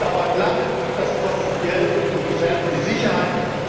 Das dauert lange, das kostet Geld und gefährdet die Sicherheit.